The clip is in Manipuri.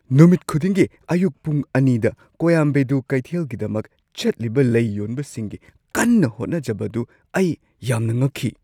ꯅꯨꯃꯤꯠ ꯈꯨꯗꯤꯡꯒꯤ ꯑꯌꯨꯛ ꯄꯨꯡ ꯲ꯗ ꯀꯣꯌꯥꯝꯕꯦꯗꯨ ꯀꯩꯊꯦꯜꯒꯤꯗꯃꯛ ꯆꯠꯂꯤꯕ ꯂꯩ ꯌꯣꯟꯕꯁꯤꯡꯒꯤ ꯀꯟꯅ ꯍꯣꯠꯅꯖꯕꯗꯨ ꯑꯩ ꯌꯥꯝꯅ ꯉꯛꯈꯤ꯫